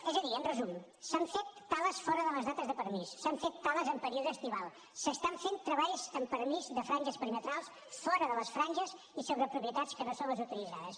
és a dir en resum s’han fet tales fora de les dates de permís s’han fet tales en període estival s’estan fent treballs amb permís de franges perimetrals fora de les franges i sobre propietats que no són les autoritzades